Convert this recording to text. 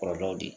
Kɔlɔlɔw de